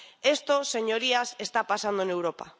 Esto, señorías, está pasando en Europa.